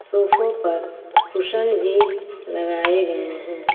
सोफों पर कुशन भी लगाए गए हैं।